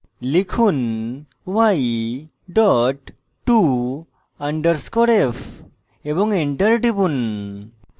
লিখুন y dot to _ f এবং enter টিপুন